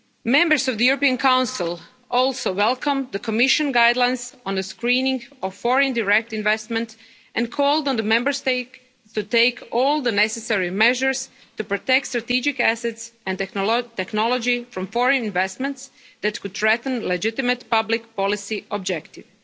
Members of the European Council also welcomed the Commission guidelines on the screening of foreign direct investment and called on the Member States to take all the necessary measures to protect strategic assets and technology from foreign investments that could threaten legitimate public policy objectives.